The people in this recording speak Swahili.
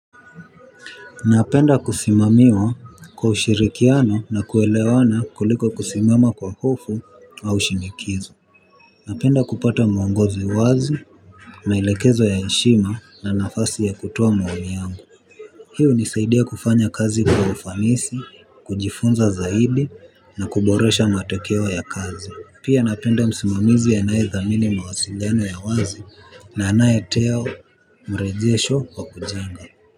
Napenda kusimamiwa kwa ushirikiano na kuelewana kuliko kusimama kwa hofu au shinikizo. Napenda kupata mwongozi wazi, maelekezo ya heshima na nafasi ya kutoa maoni yangu. Hii hunisaidia kufanya kazi kwa ufanisi, kujifunza zaidi na kuboresha matokeo ya kazi. Pia napenda msimamizi anayethamini mawasiliano ya wazi na anayetoa mrejesho wa kujenga.